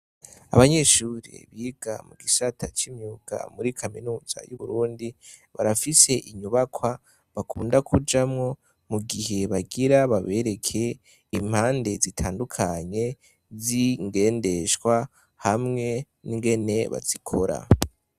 Abanyeshure biga mu gisata c'imyuga muri kaminuza y'Uburundi, barafise inyubakwa bakunda kujamwo, mugihe bagira babereke impande zitandukanye z'ingendeshwa, hamwe n'ingene bazikora.